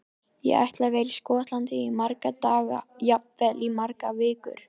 Ég ætla að vera í Skotlandi í marga daga, jafnvel í margar vikur.